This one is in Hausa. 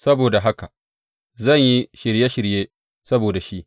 Saboda haka zan yi shirye shirye saboda shi.